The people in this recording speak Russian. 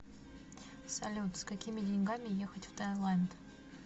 салют с какими деньгами ехать в таиланд